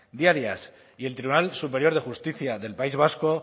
diarias y el tribunal superior de justicia del país vasco